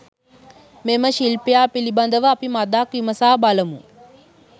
මෙම ශිල්පියා පිළිබඳව අපි මඳක් විමසා බලමු.